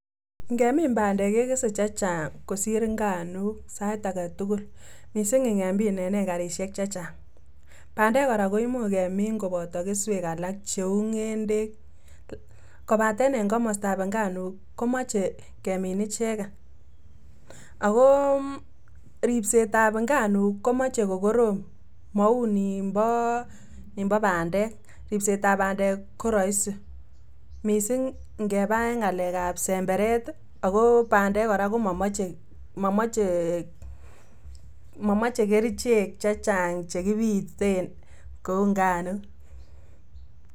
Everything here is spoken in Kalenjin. Ngemin bandek kekese che chang' kosir nganuk sait aketugul missing ingemin en ekarisiek chechang' bandek kora koimuch kemin kopoto keswek alak cheu ng'endek kopaten en komostab nganuk komoche kemin icheken akoo ripsetab nganuk komoche kokorom mounimpo bandek ripsetab bandek koroisi missing ngepaa en ng'alekab semberet ako bandek kora komomoche kerichek che chang chekipiten kou nganuk.